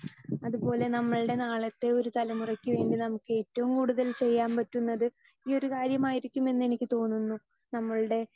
speaker 2 അതുപോലെ നമ്മളുടെ നാളത്തെ ഒരു തലമുറയ്ക്ക് വേണ്ടി നമുക്ക് ഏറ്റവും കൂടുതൽ ചെയ്യാൻ പറ്റുന്നത് ഈയൊരു കാര്യം ആയിരിക്കും എന്ന് എനിക്ക് തോന്നുന്നു നമ്മൾടെ